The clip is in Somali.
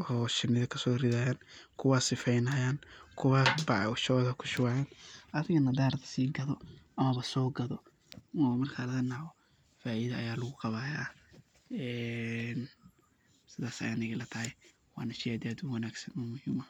oo sheeni kasorethayeen, kuwa sifeeynayin kuwa bac shootha kushuwayeen adigana handarbtoh sekatho, oo sookatho oo marki Kali faaitho Aya lagu Qabaya ee sas Aya Anika ilatahay sheey aad iyo aad u wangsan waye.